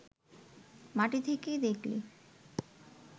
মাটি থেকে দেখলে